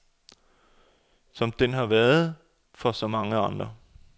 Som den har været for så mange andre.